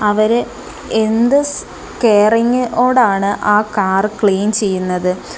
അവര് എന്ത് സ് കെയറിങ് ഓടാണ് ആ കാർ ക്ലീൻ ചെയ്യുന്നത്.